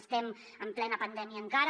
estem en plena pandèmia encara